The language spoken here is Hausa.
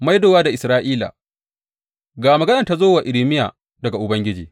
Maidowa da Isra’ila Ga maganar da ta zo wa Irmiya daga Ubangiji.